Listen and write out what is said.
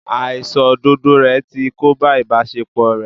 Àìṣòdodo ẹ̀ ti kóbá ìbáṣepọ̀ ẹ́.